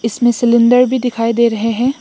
इसमें सिलेंडर भी दिखाई दे रहे हैं।